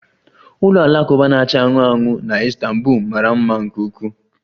Ụlọ alakụba na-acha anụnụ anụnụ na Istanbul mara mma nke ukwuu